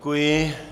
Děkuji.